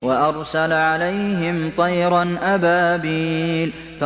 وَأَرْسَلَ عَلَيْهِمْ طَيْرًا أَبَابِيلَ